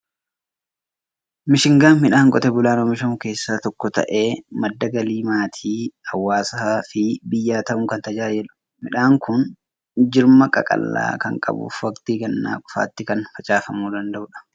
Mishingaan midhaan qotee bulaan oomishamu keessaa tokko ta'ee, madda galii maatii, hawaasaa fi biyyaa ta'uun kan tajaajiludha. Midhaan kun jirma qaqallaa kan qabuu fi waqtii gannaa qofaatti kan facaafamuu danda'udha.